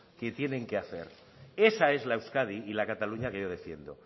que tienen que hacer esa es la euskadi y la cataluña que yo defiendo